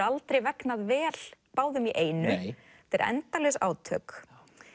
aldrei vegnað vel báðum í einu þetta eru endalaus átök